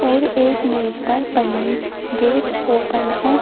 और एक मेज पर पन्नी गेट ओपन है।